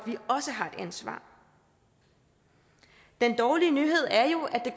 ansvar den dårlige nyhed er jo at det